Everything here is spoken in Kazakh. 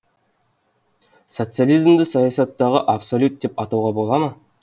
социализмді саясаттағы абсолют деп атауға бола ма